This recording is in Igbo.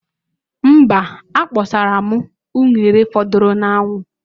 Mba, akpasaro m unere fọdụrụnụ a'anwu.